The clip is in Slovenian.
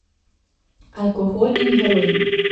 Alkohol in heroin.